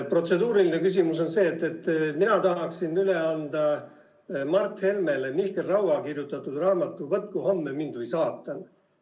Protseduuriline küsimus on see, et mina tahaksin üle anda Mart Helmele Mihkel Raua kirjutatud raamatu "Võtku homme mind või saatan".